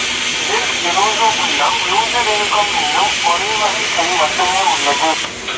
இதில் Drosophyllum lusitanicum என்னும் ஒரே வகைச் செடி மட்டுமே உள்ளது